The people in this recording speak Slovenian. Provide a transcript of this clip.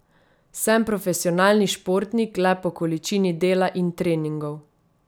Sem profesionalni športnik le po količini dela in treningov.